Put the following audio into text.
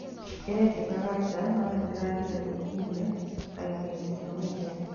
Ĩrekĩkaga nja no nĩndĩragire gwĩkinyia ndagĩkainĩ cia mũthia